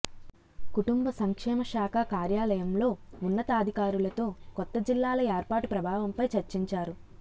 కుటుంబ సంక్షేమ శాఖ కార్యాలయంలో ఉన్నతాధికారులతో కొత్త జిల్లాల ఏర్పాటు ప్రభావంపై చర్చించారు